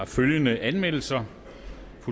følgende anmeldelser